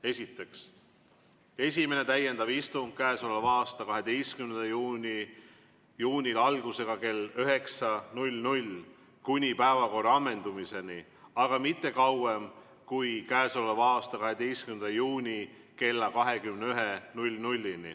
Esiteks, esimene täiendav istung k.a 12. juunil algusega kell 9 kuni päevakorra ammendumiseni, aga mitte kauem kui k.a 12 juuni kella 21-ni.